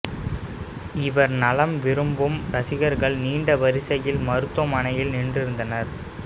இவர் நலம் விரும்பும் ரசிகர்கள் நீண்ட வரிசையில் மருத்துவ மனையில் நின்றிருந்தனர்